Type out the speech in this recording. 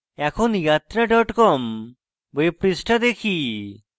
এখন yatra com web পৃষ্ঠা দেখি